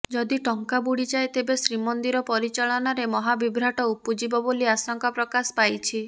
ଯଦି ଟଙ୍କା ବୁଡ଼ିଯାଏ ତେବେ ଶ୍ରୀମନ୍ଦିର ପରିଚାଳନାରେ ମହାବିଭ୍ରାଟ ଉପୁଜିବ ବୋଲି ଆଶଙ୍କା ପ୍ରକାଶ ପାଇଛି